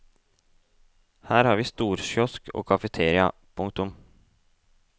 Her har vi storkiosk og kafeteria. punktum